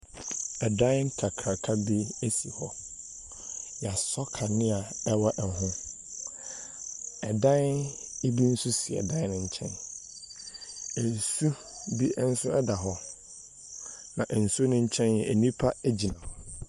Ɛdan kakraka bi si hɔ. Wɔasɔ kanea wɔ ho. Ɛdan bi nso si dan no nkyɛn. Nsu bi nso da hɔ, na nsuo no nkyɛn, nnipa gyina hɔ.